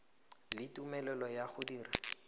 le tumelelo ya go dira